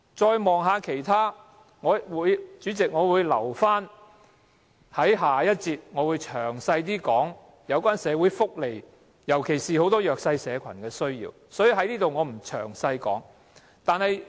再看看其他......代理主席，我會留待在下一節有關社會福利的辯論中，詳細討論市民，尤其是弱勢社群的需要。